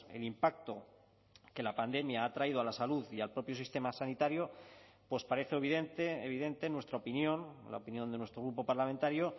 el impacto que la pandemia ha traído a la salud y al propio sistema sanitario pues parece evidente en nuestra opinión la opinión de nuestro grupo parlamentario